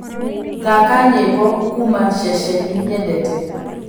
thaka nyĩmbo kũũma ceceni nyendete